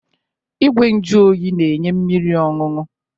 Igwe nju oyi na-enye mmiri ọñụñụ.